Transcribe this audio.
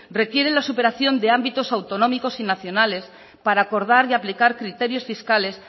requiere la superación de ámbitos autonómicos y nacionales para acordar y aplicar criterios fiscales